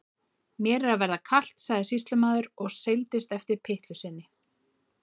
Mér er að verða kalt, sagði sýslumaður og seildist eftir pyttlu sinni.